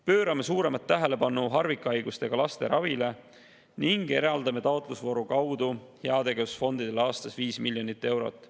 Pöörame suuremat tähelepanu harvikhaigustega laste ravile ning eraldame heategevusfondidele taotlusvooru kaudu aastas 5 miljonit eurot.